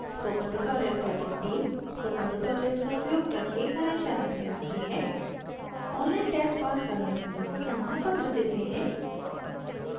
spoken tutorial project team spoken tutorial का उपयोग करके कार्यशालाएं चलाती है ऑनलाइन टेस्ट पास करने वालों को प्रमाणपत्र देते हैं